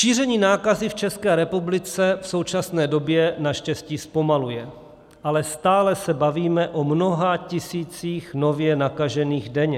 Šíření nákazy v České republice v současné době naštěstí zpomaluje, ale stále se bavíme o mnoha tisících nově nakažených denně.